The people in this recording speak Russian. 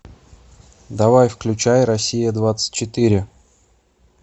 давай включай россия двадцать четыре